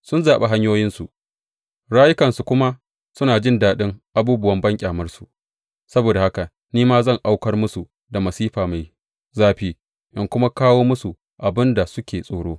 Sun zaɓi hanyoyinsu, rayukansu kuma suna jin daɗin abubuwan banƙyamarsu; saboda haka ni ma zan aukar musu da masifa mai zafi in kuma kawo musu abin da suke tsoro.